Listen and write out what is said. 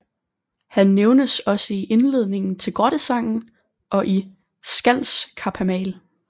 Han nævnes også i indledningen til Grottesangen og i Skaldskaparmal